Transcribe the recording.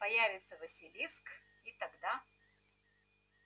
появится василиск и тогда